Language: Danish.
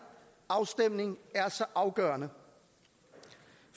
afstemning er så afgørende